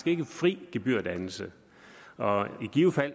ikke fri gebyrdannelse og i givet fald